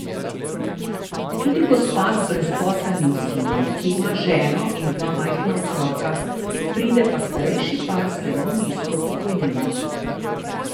Tudi gospa z brezposelnim sinom, ki ima ženo in dva majhna otroka, pride pa starejši par z zelo nizko pokojnino.